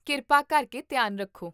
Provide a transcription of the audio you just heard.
ਕਿਰਪਾ ਕਰਕੇ ਧਿਆਨ ਰੱਖੋ